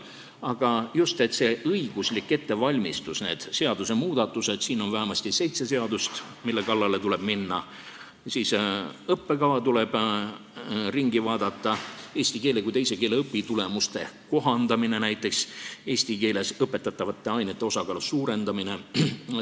Aga on vaja õiguslikku ettevalmistust, seadusmuudatusi , siis tuleb õppekava üle vaadata, tuleb näiteks eesti keele kui teise keele õpitulemusi kohandada ja eesti keeles õpetatavate ainete osakaalu suurendada.